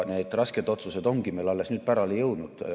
Need rasked otsused ongi meile alles nüüd pärale jõudnud.